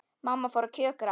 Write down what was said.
Mamma fór að kjökra.